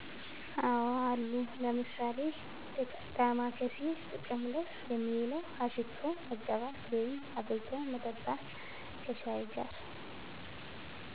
አዎ አሉ። ለምሣሌ፦ ዳማካሴ ጥቅም ላይ የሚውለው አሽቶ መቀባት ወይም አፍልቶ መጠጣት ከሻይ ጋር